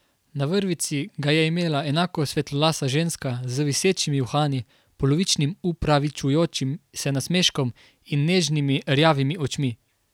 Na vrvici ga je imela enako svetlolasa ženska z visečimi uhani, polovičnim opravičujočim se nasmeškom in nežnimi, rjavimi očmi.